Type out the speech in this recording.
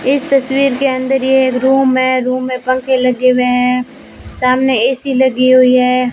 इस तस्वीर के अंदर ये एक रूम है रूम में पंखे लगे हुए हैं सामने ए_सी लगी हुई है।